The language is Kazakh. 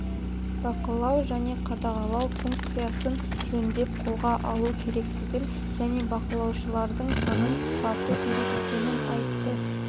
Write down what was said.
бақылау және қадағалау функциясын жөндеп қолға алу керектігін және бақылаушылардың санын қысқарту керек екенін айтты